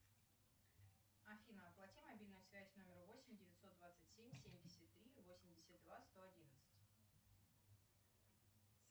афина оплати мобильную связь номер восемь девятьсот двадцать семь семьдесят три восемьдесят два сто одиннадцать